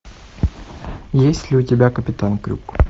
есть ли у тебя капитан крюк